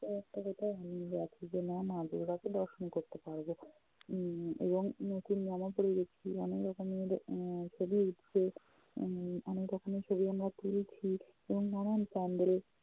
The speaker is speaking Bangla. সেটা একটা কোথাও আনন্দ আছে যে না মা দুর্গা কে দর্শন করতে পারবো উম এবং নতুন জামা পরে গেছি উম অনেক রকমের এর ছবি উঠছে, উম অনেক রকমের ছবি আমরা তুলছি এবং নানান pandal